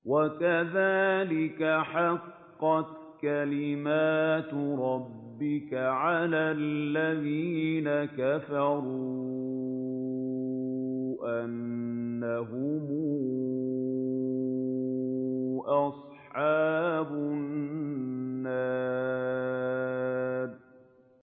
وَكَذَٰلِكَ حَقَّتْ كَلِمَتُ رَبِّكَ عَلَى الَّذِينَ كَفَرُوا أَنَّهُمْ أَصْحَابُ النَّارِ